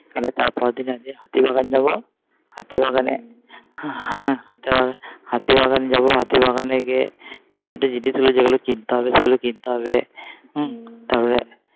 আবার তার পরের দিন আজকে হাতিবাগান যাবো হাতিবাগানে হ্যাঁ হাতিবাগান হাতিবাগান যাবো হাতিবাগানে গিয়ে দু চারটে জিনিস যেগুলো কিনতে হবে সেগুলো কিনতে হবে হম তারপরে